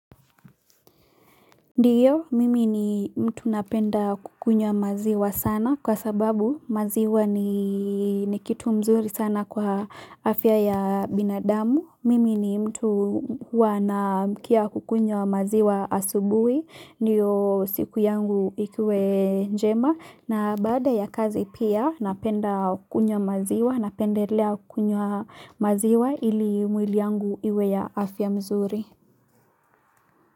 Ndiyo, mimi ni mtu napenda kukunywa maziwa sana kwa sababu maziwa ni kitu mzuri sana kwa afya ya binadamu, mimi ni mtu wanaamkia kukunywa maziwa asubuhi, ndiyo siku yangu ikuwe njema, na baada ya kazi pia napenda kukunywa maziwa, napendelea kukunywa maziwa ili mwili yangu iwe ya afya mzuri.